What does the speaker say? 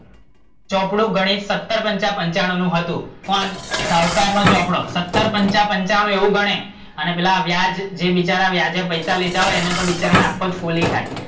ચોપડો ગણિત સત્તર પંચા પંચાણું નું હતું, પણ શાહુકાર નો ચોપડો સત્તર પંચા પંચાણું એવું ગણાય, અને પેલા જે વ્યાજે પૈસા લીધા હોય એને તો આખો જ ફોલી ખાય